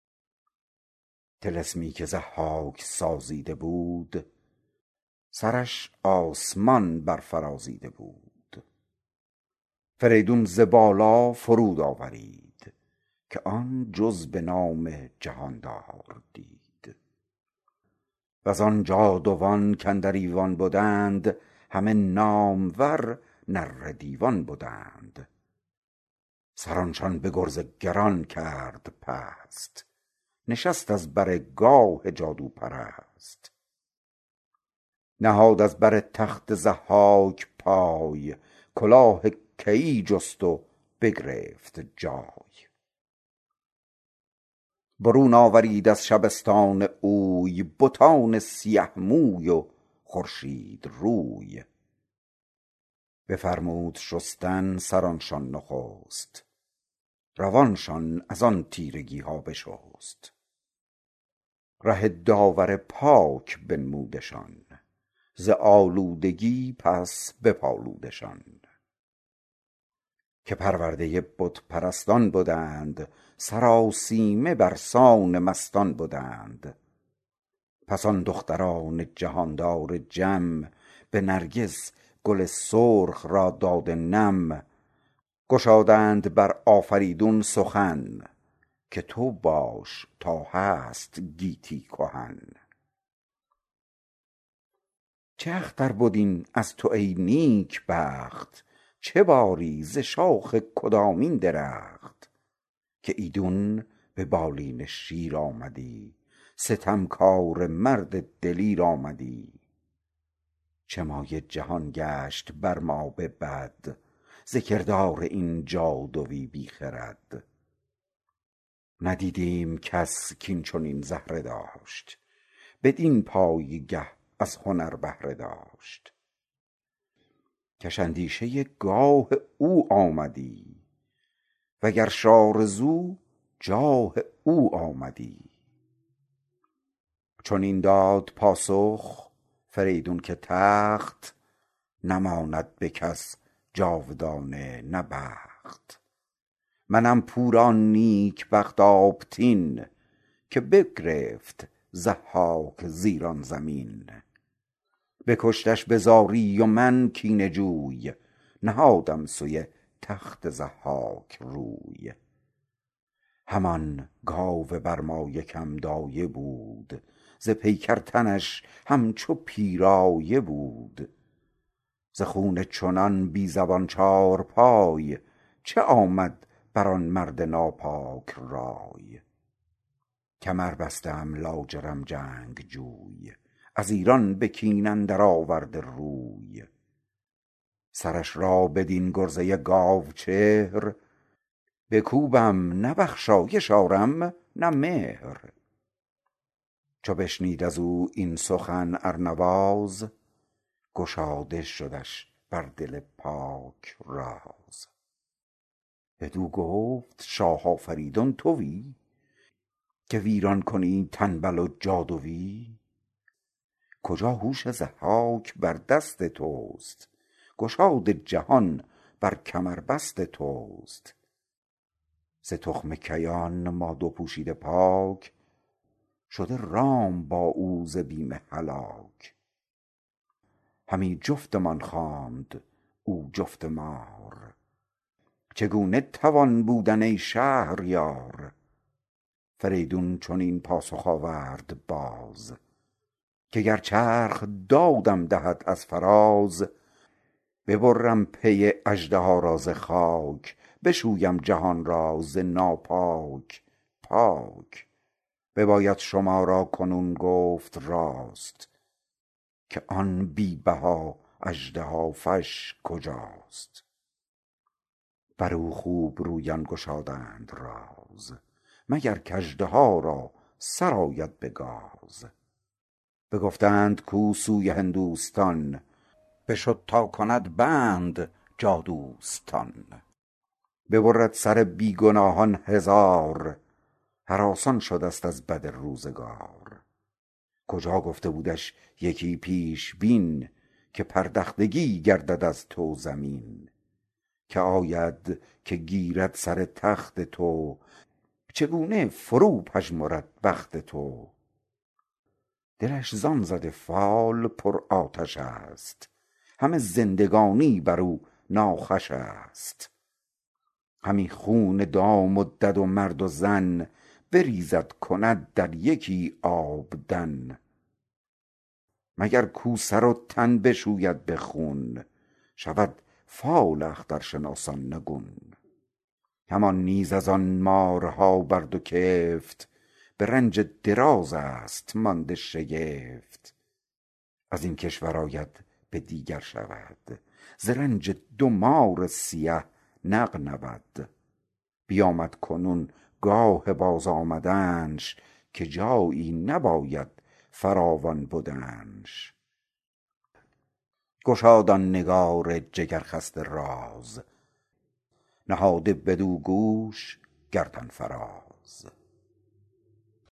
طلسمی که ضحاک سازیده بود سرش به آسمان بر فرازیده بود فریدون ز بالا فرود آورید که آن جز به نام جهاندار دید و زآن جادوان کاندر ایوان بدند همه نامور نره دیوان بدند سرانشان به گرز گران کرد پست نشست از بر گاه جادوپرست نهاد از بر تخت ضحاک پای کلاه کیی جست و بگرفت جای برون آورید از شبستان اوی بتان سیه موی و خورشید روی بفرمود شستن سرانشان نخست روانشان از آن تیرگی ها بشست ره داور پاک بنمودشان ز آلودگی پس بپالودشان که پرورده بت پرستان بدند سرآسیمه بر سان مستان بدند پس آن دختران جهاندار جم به نرگس گل سرخ را داده نم گشادند بر آفریدون سخن که تو باش تا هست گیتی کهن چه اختر بد این از تو ای نیک بخت چه باری ز شاخ کدامین درخت که ایدون به بالین شیر آمدی ستمکاره مرد دلیر آمدی چه مایه جهان گشت بر ما به بد ز کردار این جادوی بی خرد ندیدیم کس کاین چنین زهره داشت بدین پایگه از هنر بهره داشت کش اندیشه گاه او آمدی و گرش آرزو جاه او آمدی چنین داد پاسخ فریدون که تخت نماند به کس جاودانه نه بخت منم پور آن نیک بخت آبتین که بگرفت ضحاک ز ایران زمین بکشتش به زاری و من کینه جوی نهادم سوی تخت ضحاک روی همان گاو برمایه که م دایه بود ز پیکر تنش همچو پیرایه بود ز خون چنان بی زبان چارپای چه آمد بر آن مرد ناپاک رای کمر بسته ام لاجرم جنگجوی از ایران به کین اندر آورده روی سرش را بدین گرزه گاو چهر بکوبم نه بخشایش آرم نه مهر چو بشنید از او این سخن ارنواز گشاده شدش بر دل پاک راز بدو گفت شاه آفریدون تویی که ویران کنی تنبل و جادویی کجا هوش ضحاک بر دست تست گشاد جهان بر کمربست تست ز تخم کیان ما دو پوشیده پاک شده رام با او ز بیم هلاک همی جفتمان خواند او جفت مار چگونه توان بودن ای شهریار فریدون چنین پاسخ آورد باز که گر چرخ دادم دهد از فراز ببرم پی اژدها را ز خاک بشویم جهان را ز ناپاک پاک بباید شما را کنون گفت راست که آن بی بها اژدهافش کجاست بر او خوب رویان گشادند راز مگر کاژدها را سر آید به گاز بگفتند کاو سوی هندوستان بشد تا کند بند جادوستان ببرد سر بی گناهان هزار هراسان شده ست از بد روزگار کجا گفته بودش یکی پیشبین که پردختگی گردد از تو زمین که آید که گیرد سر تخت تو چگونه فرو پژمرد بخت تو دلش زآن زده فال پر آتش است همه زندگانی بر او ناخوش است همی خون دام و دد و مرد و زن بریزد کند در یکی آبدن مگر کاو سر و تن بشوید به خون شود فال اخترشناسان نگون همان نیز از آن مارها بر دو کفت به رنج دراز است مانده شگفت از این کشور آید به دیگر شود ز رنج دو مار سیه نغنود بیامد کنون گاه بازآمدنش که جایی نباید فراوان بدنش گشاد آن نگار جگر خسته راز نهاده بدو گوش گردن فراز